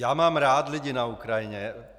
Já mám rád lidi na Ukrajině.